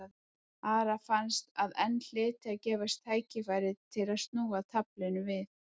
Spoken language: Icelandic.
Ara fannst að enn hlyti að gefast tækifæri til þess að snúa taflinu við.